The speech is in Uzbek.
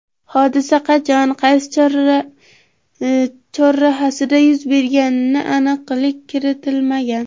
Hodisa qachon, qaysi chorrahasida yuz berganiga aniqlik kiritilmagan.